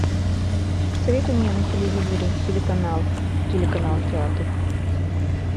посоветуй мне на телевизоре телеканал телеканал театр